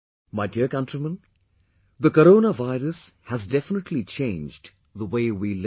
My dear countrymen, the corona virus has definitely changed the way we live